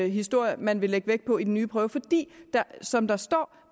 historie man vil lægge vægt på i den nye prøve fordi det som der står